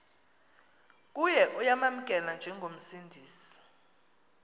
kuye uyamamkela njengomsindisi